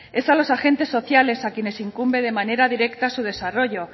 es a los agentes sociales a quienes incumbe de manera directa su desarrollo